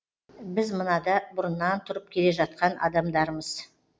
біз мынада бұрыннан тұрып келе жатқан адамдармыз